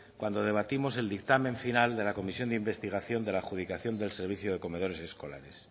cuando debatimos el dictamen final de la comisión de investigación de la adjudicación del servicio de comedores escolares